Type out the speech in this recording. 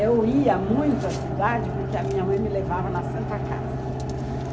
Eu ia muito à cidade porque a minha mãe me levava na Santa Casa.